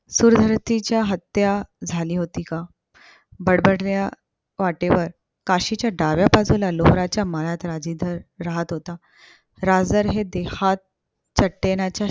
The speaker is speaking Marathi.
सुरवरतीची हत्या झाली होती का. बडबल्या वाटेवर काशीच्या डाव्या बाजूला लोफराच्या मळ्यात राजेधर राहत होता. राजर हे देहात चट्टेनाच्या